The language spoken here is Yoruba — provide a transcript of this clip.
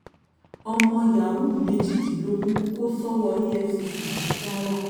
ọmọ yahoo méjìdínlógún kò sọ́wọ́ efcc ní kwara